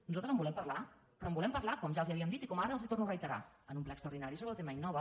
nosaltres en volem parlar però en volem parlar com ja els havíem dit i com ara els torno a reiterar en un ple extraordinari sobre el tema innova